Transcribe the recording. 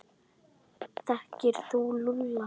Þekkir þú Lúlla?